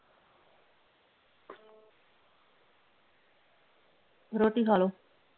ਰੋਟੀ ਖਾ ਲਓ